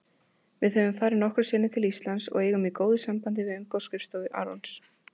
Við höfum farið nokkrum sinnum til Íslands og eigum í góðu sambandi við umboðsskrifstofu Arons.